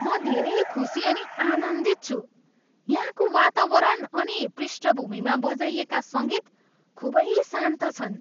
म धेरै खुसी अनि आनन्दित छु, यहाँको वातावरण अनि पृष्ठभूमिमा बजाइएका सङ्गीत खुबै शान्त छन्!